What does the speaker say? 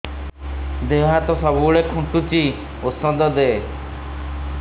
ଦିହ ହାତ ସବୁବେଳେ କୁଣ୍ଡୁଚି ଉଷ୍ଧ ଦେ